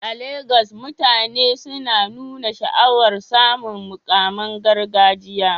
A Legas, mutane suna nuna sha'awar samun muƙaman gargajiya